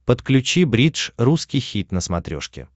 подключи бридж русский хит на смотрешке